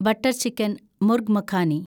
butter chicken (murgh makhani)